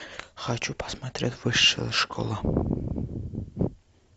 хочу посмотреть высшая школа